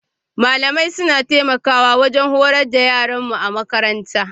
Malamai suna taimakawa wajen horar da yaranmu a makaranta.